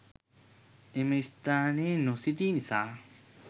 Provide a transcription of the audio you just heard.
එම ස්‌ථානයේ නොසිටි නිසා